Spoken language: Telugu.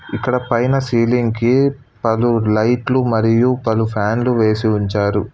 ఇక్కడ పైన సీలింగ్ కి పలు లైట్లు మరియు పలు ఫ్యాన్లు వేసి ఉంచారు.